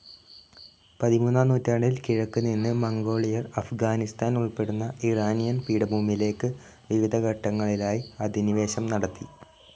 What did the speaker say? പതിമൂന്നാം നൂറ്റാണ്ടിൽ കിഴക്ക് നിന്ന് മംഗോളിയർ അഫ്ഗാനിസ്ഥാൻ ഉൾപ്പെടുന്ന ഇറാനിയൻ പീഠഭൂമിയിലേക്ക് വിവിധ ഘട്ടങ്ങളിലായി അധിനിവേശം നടത്തി.